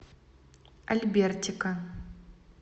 альбертика